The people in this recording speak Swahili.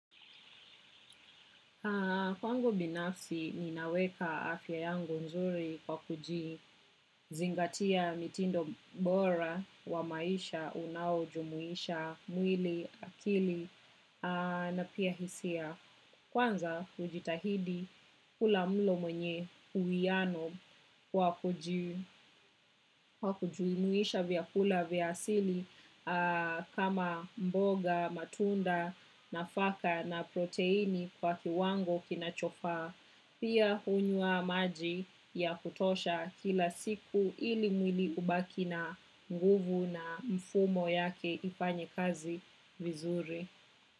Kwangu binafsi, ninaweka afya yangu nzuri kwa kuji zingatia mitindo bora wa maisha, unao, jumuisha, mwili, akili, na pia hisia. Kwanza kujitahidi kula mlo mwenye uwiano kwa kujumuisha vyakula vya asili kama mboga, matunda, nafaka na protini kwa kiwango kinachofaa pia hunywa maji ya kutosha kila siku ili mwili ubaki na nguvu na mfumo yake ifanye kazi vizuri.